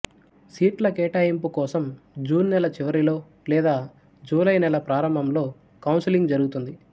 సీట్ల కేటాయింపు కోసం జూన్ నెల చివరిలో లేదా జూలై నెల ప్రారంభంలో కౌన్సెలింగ్ జరుగుతుంది